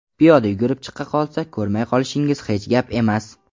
Piyoda yugurib chiqib qolsa, ko‘rmay qolishingiz hech gap emas.